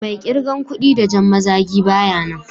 Mai kirgan kuɗ da jan mazagi baya nan.